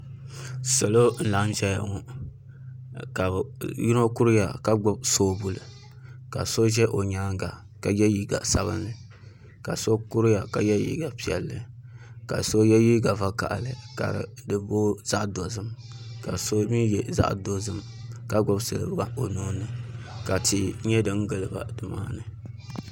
Salo n laɣam ʒɛya ŋo ka yino kuriya ka gbubi soobuli ka so ʒɛ o nyaanga ka yɛ liiga sabinli ka so kuriya ka yɛ liiga piɛlli ka so yɛ liiga vakaɣali ka di booi zaɣ dozim ka so mii yɛ zaɣ dozim ka gbubi siliba o nuuni ka suhi nyɛ din giliba nimaani